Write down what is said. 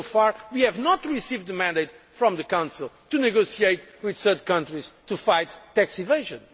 So far we have not received a mandate from the Council to negotiate with third countries to fight tax evasion.